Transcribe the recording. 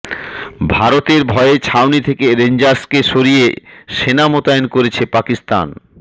ভারতের ভয়ে ছাউনি থেকে রেঞ্জার্সকে সরিয়ে সেনা মোতায়েন করছে পাকিস্তান